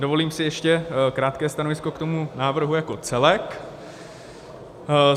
Dovolím si ještě krátké stanovisko k tomu návrhu jako celku.